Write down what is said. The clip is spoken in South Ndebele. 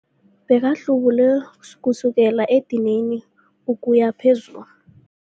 Bekahlubule kusukela edinini ukuya phezulu.